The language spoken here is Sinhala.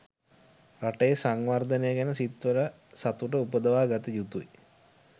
රටේ සංවර්ධනය ගැන සිත්වල සතුට උපදවා ගත යුතුයි.